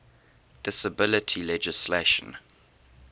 disability legislation